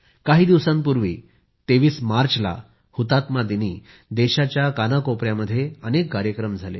काही दिवसांपूर्वी 23 मार्चला हुतात्मा दिनी देशाच्या कानाकोपयामध्ये अनेक कार्यक्रम झाले